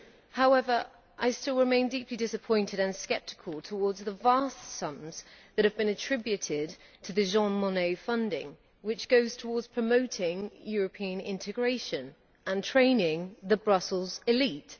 However, I still remain deeply disappointed and sceptical towards the vast sums that have been attributed to the Jean Monnet funding which goes towards promoting European integration and training the Brussels elite.